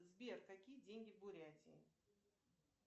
сбер какие деньги в бурятии